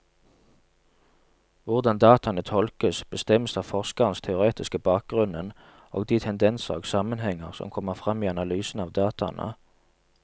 Hvordan dataene tolkes, bestemmes av forskerens teoretiske bakgrunnen og de tendenser og sammenhenger som kommer frem i analysen av dataene.